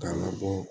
K'a labɔ